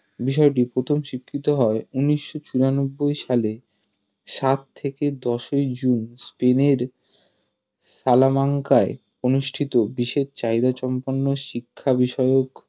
বিষয়টি প্রথম স্বীকৃত হয় ঊনিশশো চুরানব্বই সালে সাত থেকে দশ ই জুন স্পেনের সালামানকায় অনুষ্ঠিত বিশেষ চাহিদাসম্পন্ন শিক্ষা বিষয়ক